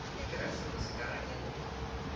keresemose ka ge e le